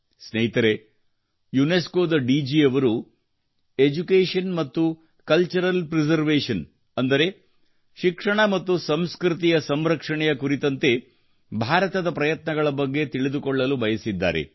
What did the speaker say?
ಸ್ನೇಹಿತರೆ ಯುನೆಸ್ಕೊ ದ ಡಿಜಿ ಯವರು ಎಡ್ಯುಕೇಷನ್ ಮತ್ತು ಕಲ್ಚರಲ್ ಪ್ರಿಸರ್ವೇಷನ್ ಅಂದರೆ ಶಿಕ್ಷಣ ಮತ್ತು ಸಂಸ್ಕೃತಿ ಸಂರಕ್ಷಣೆಯ ಕುರಿತಂತೆ ಭಾರತದ ಪ್ರಯತ್ನಗಳ ಬಗ್ಗೆ ತಿಳಿದುಕೊಳ್ಳಲು ಬಯಸಿದ್ದಾರೆ